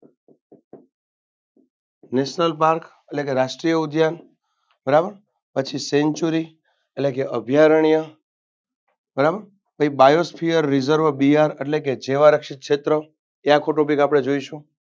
national park એટલે કે રાષ્ટ્રીય ઉધાન બરાબર sanctuary એટલે કે અભિયારણીય બરાબ પહી biosphere reserve બિહાર એટલે જૈવારક્ષિત ક્ષેત્રો ત્યાં સુધી આપણે જોઈશું.